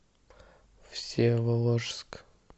всеволожск